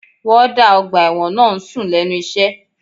Wọ́ọ́dà ọgbà ẹ̀wọ̀n náà ń sùn lẹ́nu iṣẹ́